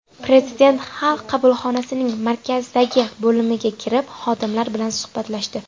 Prezident Xalq qabulxonasining markazdagi bo‘limiga kirib, xodimlar bilan suhbatlashdi.